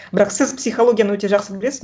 бірақ сіз психологияны өте жақсы білесіз